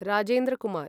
Rajendra Kumar